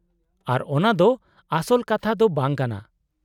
-ᱟᱨ ᱚᱱᱟ ᱫᱚ ᱟᱥᱚᱞ ᱠᱟᱛᱷᱟ ᱫᱚ ᱵᱟᱝ ᱠᱟᱱᱟ ᱾